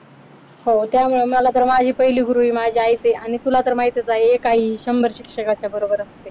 हो त्यामुळे मला तर माझी पहिली गुरुही माझी आईच आहे आणि तुला तर माहीतच आहे एक आई ही शंभर शिक्षकाच्या बरोबर असते.